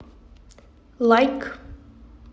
лайк